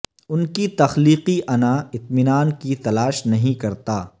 ان کی تخلیقی انا اطمینان کی تلاش نہیں کرتا